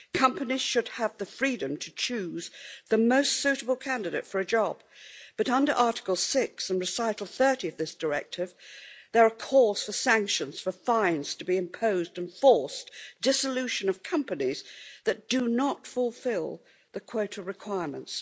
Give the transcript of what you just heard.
Companies should have the freedom to choose the most suitable candidate for a job, but under Article 6 and Recital 30 of this Directive, there are calls for sanctions, for fines to be imposed and forced dissolution of companies that do not fulfil the quota requirements.